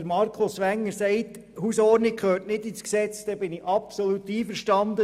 Und wenn Markus Wenger sagt, dass die Hausordnungen nicht ins Gesetz gehören, bin ich absolut einverstanden.